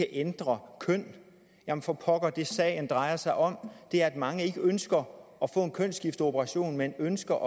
ændre køn jamen for pokker det sagen drejer sig om er at mange ikke ønsker at få en kønsskifteoperation men ønsker